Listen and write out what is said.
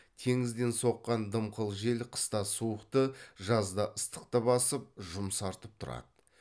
теңізден соққан дымқыл жел қыста суықты жазда ыстықты басып жұмсартып тұрады